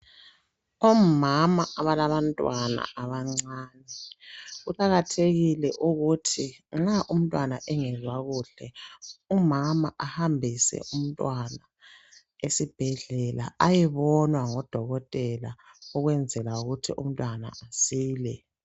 Omama abalabantwana abancane, kuqakathekile ukuthi nxa umntwana engezwa kuhle, umama ahambise umntwana esibhedlela ayebonwa ngodokotela ukwenzela ukuthi umntwana asile.